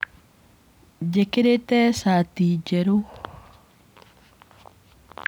Njĩkĩrĩte shati njerũ.